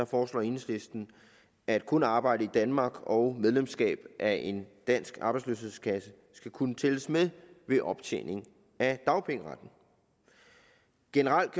foreslår enhedslisten at kun arbejde i danmark og medlemskab af en dansk arbejdsløshedskasse skal kunne tælles med ved optjening af dagpengeretten generelt